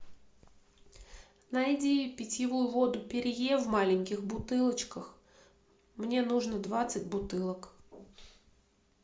найди питьевую воду перье в маленьких бутылочках мне нужно двадцать бутылок